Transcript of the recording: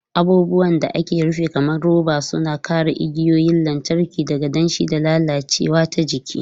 Abubuwan da aka rufe kamar roba suna kare igiyoyin lantarki daga danshi da lalacewa ta jiki.